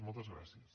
moltes gràcies